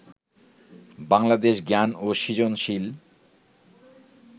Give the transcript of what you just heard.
বাংলাদেশ জ্ঞান ও সৃজনশীল